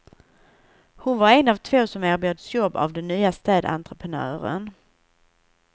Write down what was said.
Hon var en av två som erbjöds jobb av den nya städentreprenören.